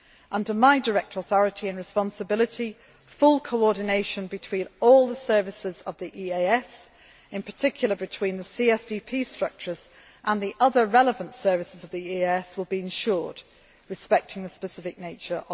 key. Under my direct authority and responsibility, full coordination between all the services of the EAS, in particular, between the CSDP structures and the other relevant services of the EAS, will be ensured, respecting their specific nature.